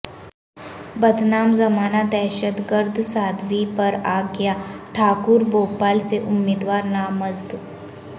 بدنام زمانہ دہشتگرد سادھوی پراگیا ٹھاکر بھوپال سے امیدوار نامزد